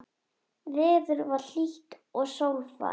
Veður var hlýtt og sólfar.